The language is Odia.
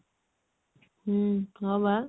ହୁଁ ହଁ ବା